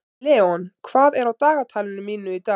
Leon, hvað er á dagatalinu mínu í dag?